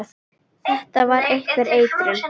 Þetta var einhver eitrun.